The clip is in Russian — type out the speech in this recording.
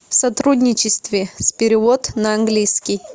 в сотрудничестве с перевод на английский